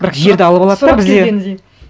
бірақ жерді алып алады да бізде